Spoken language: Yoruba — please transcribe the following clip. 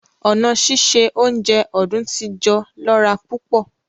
Ọ̀na sísẹ ọ̀unjẹ Ọ̀dún-tí-jọ̀ lọ̀ra púpọ̀